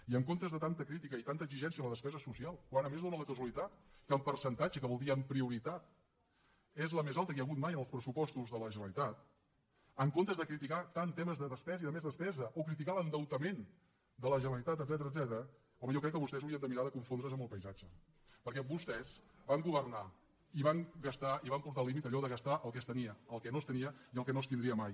i en comptes de tanta crítica i tanta exigència a la despesa social quan a més dóna la casualitat que en percentatge que vol dir en prioritat és la més alta que hi ha hagut mai en els pressupostos de la generalitat en comptes de criticar tant temes de despesa i de més despesa o criticar l’endeutament de la generalitat etcètera home jo crec que vostès haurien de mirar de confondre’s amb el paisatge perquè vostès van governar i van gastar i van portar al límit allò de gastar el que es tenia el que no es tenia i el que no es tindria mai